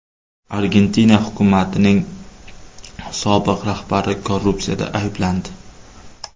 Argentina hukumatining sobiq rahbari korrupsiyada ayblandi.